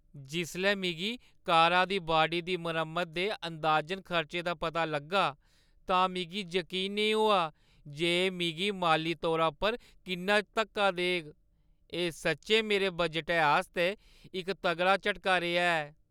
जिसलै मिगी कारा दी बाडी दी मरम्मता दे अंदाजन खर्चे दा पता लग्गा, तां मिगी जकीन नेईं होआ जे एह् मिगी माली तौरा पर किन्ना धक्का देग। एह् सच्चैं मेरे बजटै आस्तै इक तगड़ा झटका रेहा ऐ।